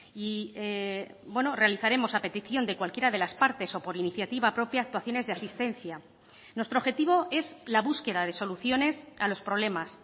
y realizaremos a petición de cualquiera de las partes o por iniciativa propia actuaciones de asistencia nuestro objetivo es la búsqueda de soluciones a los problemas